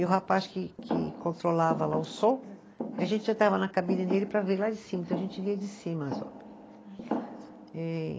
E o rapaz que que controlava lá o som, a gente já estava na cabine dele para ver lá de cima, então a gente via de cima as